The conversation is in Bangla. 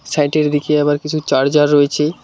দিকে আবার কিছু চার্জার রয়েছে।